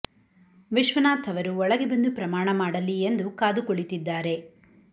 ವಿಶ್ವನಾಥ್ ಅವರು ಒಳಗೆ ಬಂದು ಪ್ರಮಾಣ ಮಾಡಲಿ ಎಂದು ಕಾದು ಕುಳಿತಿದ್ದಾರೆ